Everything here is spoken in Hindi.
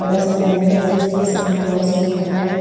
बड़ा सा बैनर है जिसपे संक्रोस लिखा हुआ है ।